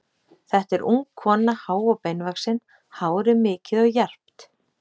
Þetta er ung kona, há og beinvaxin, hárið mikið og jarpt.